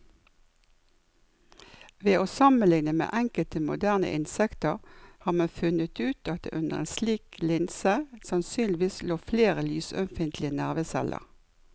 Ved å sammenligne med enkelte moderne insekter har man funnet ut at det under en slik linse sannsynligvis lå flere lysømfintlige nerveceller.